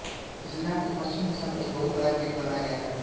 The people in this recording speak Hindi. इस ग्राम के पश्चिम दिशा में एक बहुत बडा गेट बनाया गया है